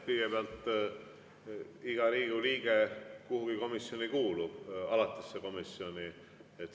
Kõigepealt, iga Riigikogu liige kuulub kuhugi komisjoni, alatisse komisjoni.